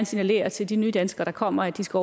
signalere til de nye danskere der kommer at de skal